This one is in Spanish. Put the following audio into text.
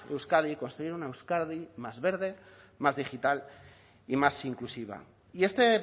euskadi construir una euskadi más verde más digital y más inclusiva y este